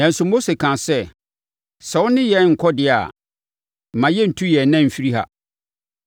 Nanso Mose kaa sɛ, “Sɛ wo ne yɛn renkɔ deɛ a, mma yɛnntu yɛn nan mfiri ha.